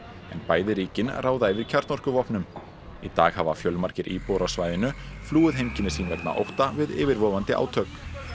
bæði ríkin ráða yfir kjarnorkuvopnum í dag hafa fjölmargir íbúar á svæðinu flúið heimkynni sín vegna ótta við yfirvofandi átök